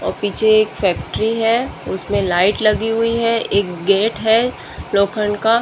और पीछे एक फैक्ट्री है उसमें लाइट लगी हुई है एक गेट है लोखंड का --